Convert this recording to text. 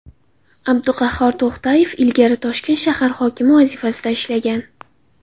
Abduqahhor To‘xtayev ilgari Toshkent shahar hokimi vazifasida ishlagan.